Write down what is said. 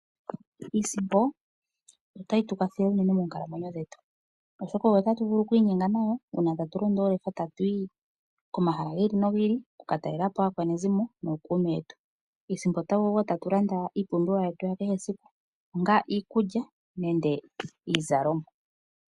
Iisimpo otayi tu kwathele unene moonkalamwenyo dhetu . Oshoka oyo tatu vulu oku inyenga nayo uuna tatu londo oolefa tatu yi komahala gi ili nogi ili. Oku ka talelapo aakwanezimo nookuume yetu. Iisimpo oyo hatu landa iipumbiwa yetu kehe esiku. Onga iikulya nenge iizalomwa.